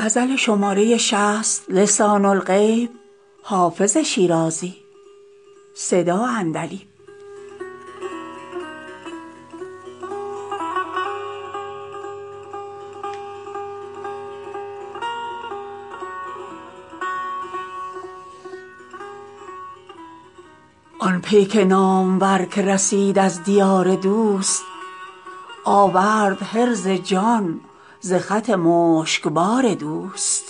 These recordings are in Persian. آن پیک نامور که رسید از دیار دوست آورد حرز جان ز خط مشکبار دوست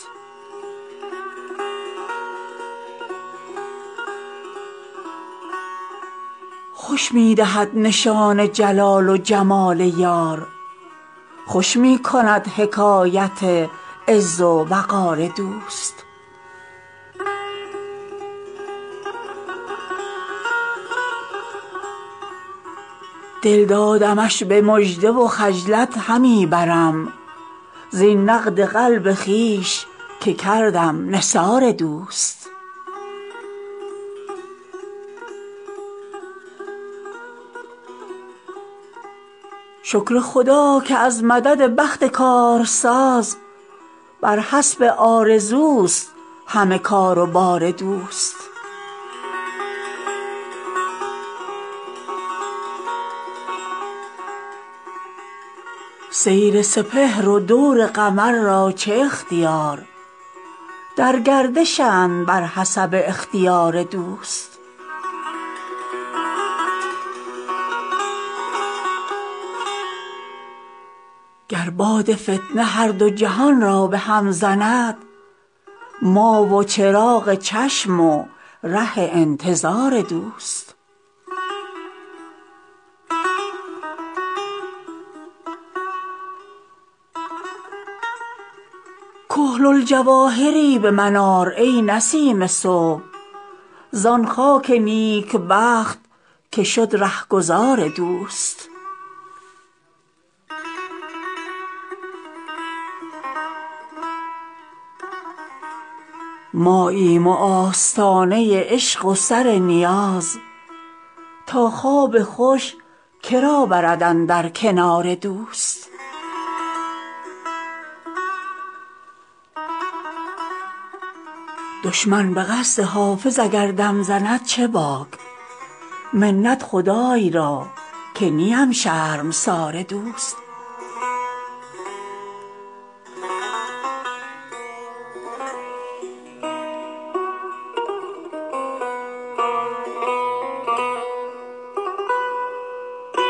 خوش می دهد نشان جلال و جمال یار خوش می کند حکایت عز و وقار دوست دل دادمش به مژده و خجلت همی برم زین نقد قلب خویش که کردم نثار دوست شکر خدا که از مدد بخت کارساز بر حسب آرزوست همه کار و بار دوست سیر سپهر و دور قمر را چه اختیار در گردشند بر حسب اختیار دوست گر باد فتنه هر دو جهان را به هم زند ما و چراغ چشم و ره انتظار دوست کحل الجواهری به من آر ای نسیم صبح زان خاک نیکبخت که شد رهگذار دوست ماییم و آستانه عشق و سر نیاز تا خواب خوش که را برد اندر کنار دوست دشمن به قصد حافظ اگر دم زند چه باک منت خدای را که نیم شرمسار دوست